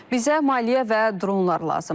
Bizə maliyyə və dronlar lazımdır.